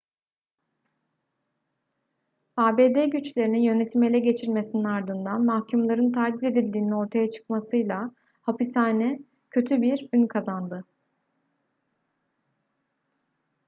abd güçlerinin yönetimi ele geçirmesinin ardından mahkumların taciz edildiğinin ortaya çıkmasıyla hapishane kötü bir ün kazandı